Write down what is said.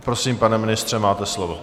Prosím, pane ministře, máte slovo.